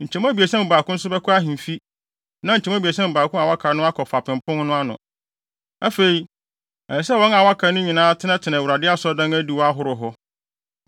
Nkyemu abiɛsa mu baako nso bɛkɔ ahemfi, na nkyɛmu abiɛsa mu baako a wɔaka no akɔ Fapem Pon no ano. Afei, ɛsɛ sɛ wɔn a wɔaka no nyinaa tenatena Awurade Asɔredan adiwo ahorow hɔ.